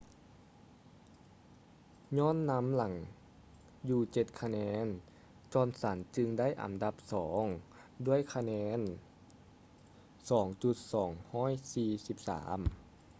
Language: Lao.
ຍ້ອນນຳຫຼັງຢູ່ເຈັດຄະແນນ ຈອນສັນ johnson ຈຶ່ງໄດ້ອັນດັບສອງດ້ວຍຄະແນນ 2,243